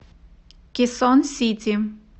кесон сити